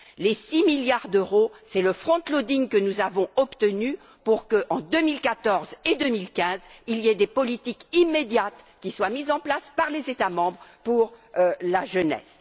Les 6 milliards d'euros, c'est le front loading que nous avons obtenu pour qu'en 2014 et en 2015 il y ait des politiques immédiates qui soient mises en place par les États membres pour la jeunesse.